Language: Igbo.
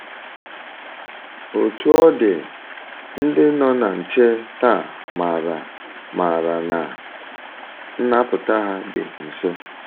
Otú ọ dị, ndị nọ na nche taa maara maara na nnapụta ha dị nso.